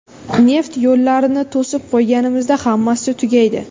Neft yo‘llarini to‘sib qo‘yganimizda hammasi tugaydi.